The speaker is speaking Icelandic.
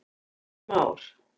Ingi Már.